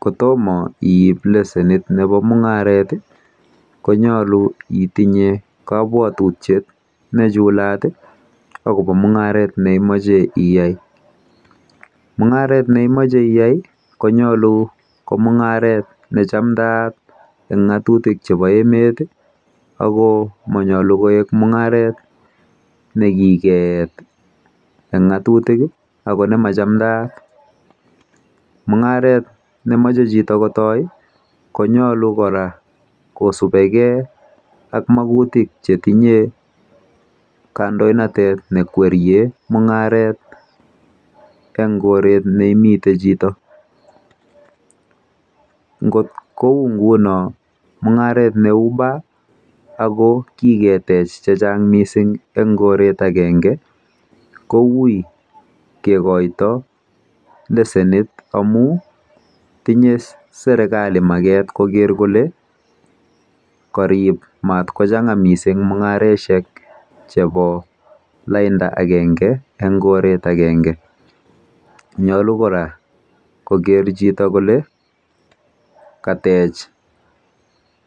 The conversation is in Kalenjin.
Kot toma iip lesenit nepo mung'aret i, ko nyalu itinye kapwatutiet ne chulat akopa mung'aret ne imache iyai. Mung'aret na imache iyai ko nyalu ko mung'aret ne chamdaat eng' ng'atutil chepo emet ako manyalu ko mung'aret ne kikeet eng' ng'atutik i ako ne ma chamdaat . Mung'aret ne mache chito kotai i, konyalu kora kosupe gei ak makutik che tinye kandoinatet ne kweriei mung'aret eng' koret ne imitei chito. Ngot kou nguno mung'aret ne u bar ako kiketech che chang' missing' eng' koret agenge ko ui kikaita lesenit amu karip matkochang'a missing' mung'aroshek che po lainda agenge eng' koret agenge. Nyalu kora koker chito kole katech